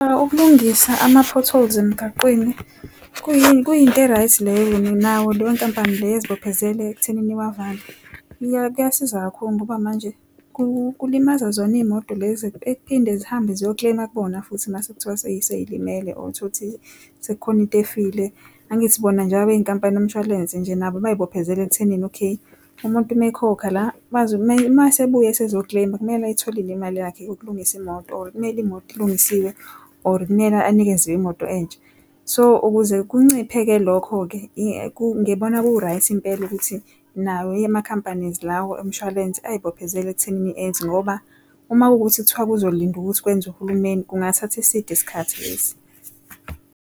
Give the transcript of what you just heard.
Ukulungisa ama-potholes emgaqweni, kuyini? Kuyinto e-right leyo nayo leyo nkampani leyo ezibophezele ekuthenini wavale. Kuyasiza kakhulu ngoba manje kulimaza zona izimoto lezi ekphinde zihambe ziyo-claim-a kubona futhi mase kuthiwa seyilimele or tholukuthi sekukhona into efile angithi bona njengoba beyinkampani yomshwalense nje nabo bezibophezele ekuthenini okay umuntu uma ekhokha la mayesebuya esezo claim, kumele ayitholile imali yakhe ukulungisa imoto kumele imoto ilungisiwe or kumele anikezwe imoto entsha. So, ukuze kunciphe-ke lokho-ke ngibona ku-right Impela ukuthi nawo ma-companies lawo omshwalense azibophezele ekuthenini enze ngoba uma kuwukuthi kuthiwa uzolinda ukuthi kwenza uhulumeni kungathatha eside isikhathi lesi.